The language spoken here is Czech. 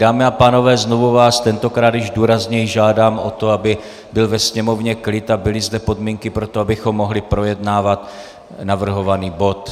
Dámy a pánové, znovu vás, tentokrát již důrazněji, žádám o to, aby byl ve sněmovně klid a byly zde podmínky pro to, abychom mohli projednávat navrhovaný bod.